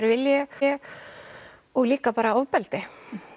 vilji og líka bara ofbeldi